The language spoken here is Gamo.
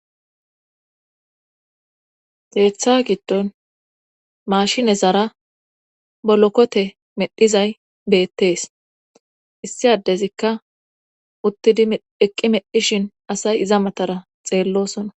Keththa giddon maashinexara bolokote medhizay beettees issi addezikka uttidi eqqi medhishin asay iza matara xeellosona